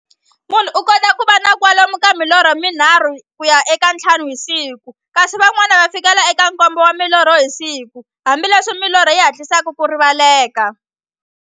Munhu u kota ku va na kwalomu ka milorho mi nharhu ku ya ka ya nthlanu hi siku, kasi van'wana ku fikela eka nkombo wa milorho hi siku, hambileswi milorho yi hatlisaka ku rivaleka.